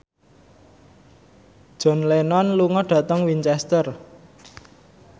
John Lennon lunga dhateng Winchester